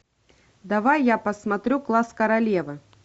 давай я посмотрю класс королевы